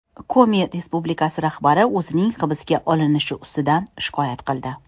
Komi respublikasi rahbari o‘zining hibsga olinishi ustidan shikoyat qildi.